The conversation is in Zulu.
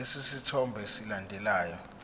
lesi sithombe esilandelayo